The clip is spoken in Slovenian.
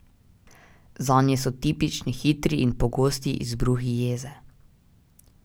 Zanje so tipični hitri in pogosti izbruhi jeze.